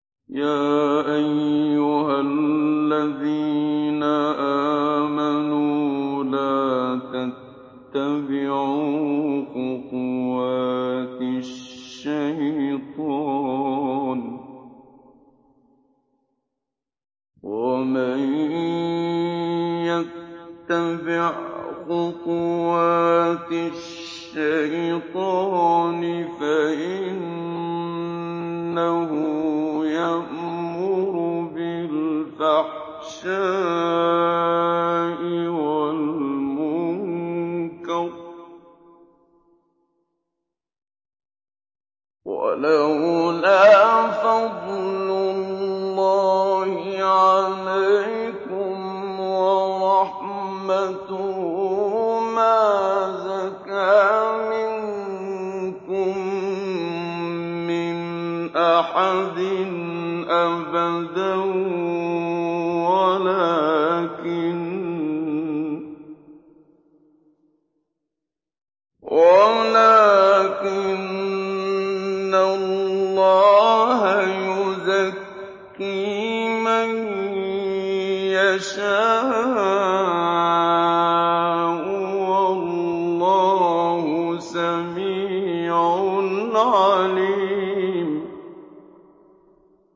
۞ يَا أَيُّهَا الَّذِينَ آمَنُوا لَا تَتَّبِعُوا خُطُوَاتِ الشَّيْطَانِ ۚ وَمَن يَتَّبِعْ خُطُوَاتِ الشَّيْطَانِ فَإِنَّهُ يَأْمُرُ بِالْفَحْشَاءِ وَالْمُنكَرِ ۚ وَلَوْلَا فَضْلُ اللَّهِ عَلَيْكُمْ وَرَحْمَتُهُ مَا زَكَىٰ مِنكُم مِّنْ أَحَدٍ أَبَدًا وَلَٰكِنَّ اللَّهَ يُزَكِّي مَن يَشَاءُ ۗ وَاللَّهُ سَمِيعٌ عَلِيمٌ